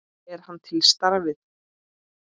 Er hann til í starfið?